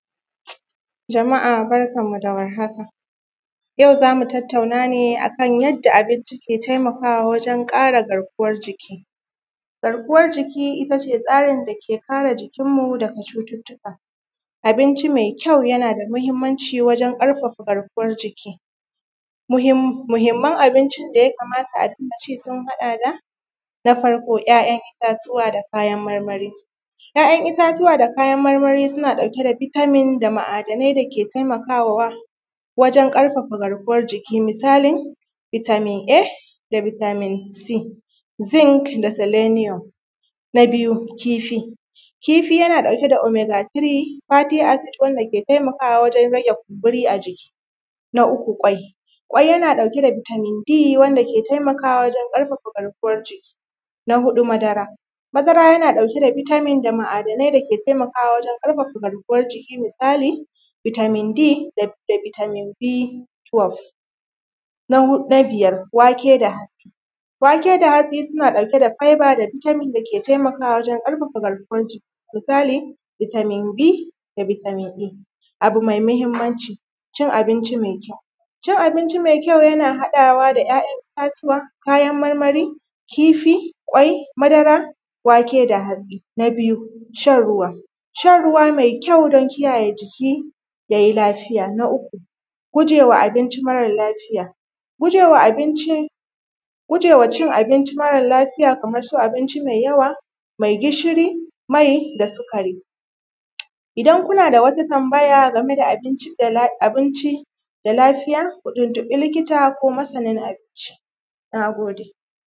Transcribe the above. Jama’a barkanmu da warhaka, yau za mu tatttauna ne akan yanda abinci ke taimakawa wajen ƙara garkuwan jiki. Garkuwan jiki ita ce tsarin da ke kare jikinmu daga cututtuka, abinci mai kyau yana da mahimmanci wajen ƙarfafa garkuwar jiki, muhimman abinci da ya kamata a rinƙa ci sun haɗa da na farko ‘ya’yan itatuwa da kayan marmari, ‘ya’yan itatuwa da kayan marmari suna ɗauke da vitamin da ma’adanai dake taimakawa wajen ƙarfafa garkuwan jiki misalin vitamin A da vitamin C, zinc da seleniyom. Na biyu kifi, kifi yana ɗauke da omega 3, fatigue acid, wanda ke taimakawa wajen rage kumburi a jiki, na uku kwai, kwai yana ɗauke da vitamin C wanda ke taimakawa wajen ƙaraffa garkuwar jiki, na huɗu madara, madara yana ɗauke da vitamin da ma’adanai dake taimakawa wajen ƙarfafa garkuwar jiki, misali vitamin D da vitamin B plus. Na biyar wake da hatsi, wake da hatsi suna ɗauke da fiba da vitamin da ke taimakwa wajen ƙarafafa garkuwan jiki misali vitamin B da vitamin A. Abu mai mahimmanci cin abinci mai kyau, cin abinci mai kyau yana haɗawa da ‘ya’yan itatuwa, kayan marmari, kifi, wake, madara, wake da hatsi, na biyu shan ruwa, shan ruwa mai kyau don kiyaye jiki ya yi lafiya, na uku gujewa abinci mara lafiya, gujewa cin abinci mara lafiya kamar su abinci mai yawa mai gishiri, mai da sikari. Idan kuna da wata tambaya game da abinci mai da lafiya ku tuntubi lilita ko masanin abinci. Na gode.